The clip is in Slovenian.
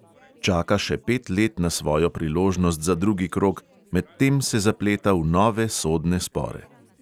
Čaka še pet let na svojo priložnost za drugi krog, medtem se zapleta v nove sodne spore.